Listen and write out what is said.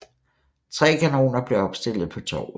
Tre kanoner blev opstillet på torvet